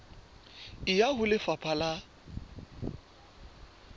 e ya ho lefapha la